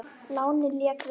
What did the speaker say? Lánið lék við okkur.